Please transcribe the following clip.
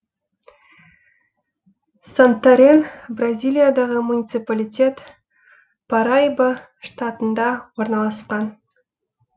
сантарен бразилиядағы муниципалитет параиба штатында орналасқан